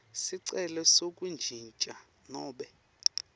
sicelo sekuntjintja nobe